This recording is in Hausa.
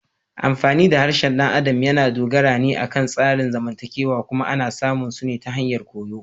Amfani da harshen ɗan adam yana dogara ne akan tsarin zamantakewa kuma ana samun su ta hanyar koyo.